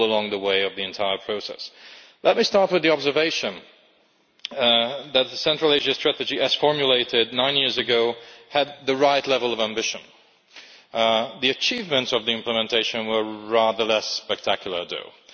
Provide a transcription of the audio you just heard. the entire process. Let me start with the observation that the Central Asia strategy, as formulated nine years ago, had the right level of ambition. The achievements of the implementation were rather less spectacular though.